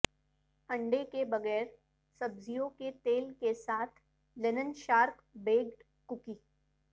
انڈے کے بغیر سبزیوں کے تیل کے ساتھ لینن شارٹ بیکڈ کوکی